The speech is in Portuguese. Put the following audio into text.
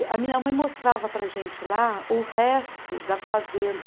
A minha mãe mostrava para a gente lá o resto da fazenda.